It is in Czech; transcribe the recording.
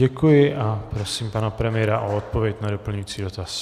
Děkuji a prosím pana premiéra o odpověď na doplňující dotaz.